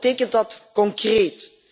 Wat betekent dat concreet?